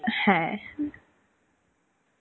হ্যাঁ,